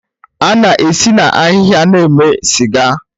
A na-esi na ahịhịa na-eme sịga